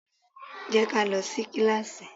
Jẹ́ ká lọ sí kíláásì!